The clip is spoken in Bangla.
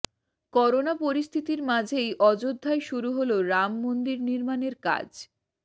করোনা পরিস্থিতির মাঝেই অযোধ্যায় শুরু হল রাম মন্দির নির্মাণের কাজ